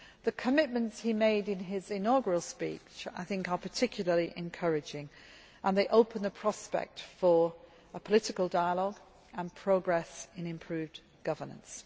The commitments he made in his inaugural speech are particularly encouraging and they open the prospect for a political dialogue and progress in improved governance.